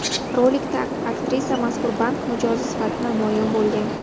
Rolikda aktrisa mazkur bank mijozi sifatida namoyon bo‘lgan.